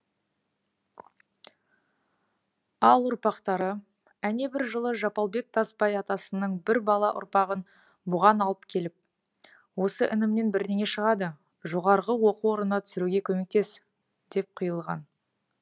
ал ұрпақтары әнебір жылы жапалбек тасбай атасының бір бала ұрпағын бұған алып келіп осы інімнен бірнеңе шығады жоғарғы оқу орнына түсіруге көмектес деп қиылған